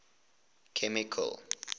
chemical